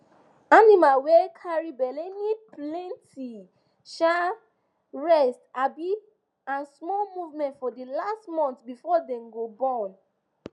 animal wey carry belle need plenty um rest um and small movement for the last month before dem go born